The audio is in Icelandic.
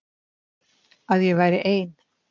Að ég væri ein.